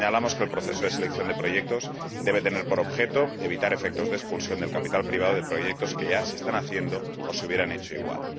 También señalamos que el proceso de selección de proyectos debe tener por objeto evitar efectos de expulsión del capital privado de proyectos que ya se están haciendo o se hubieran hecho igual.